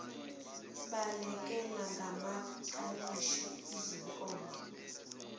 balekelela ngamakalishi ezinkomo